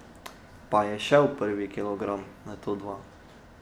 Pa je šel prvi kilogram, nato dva.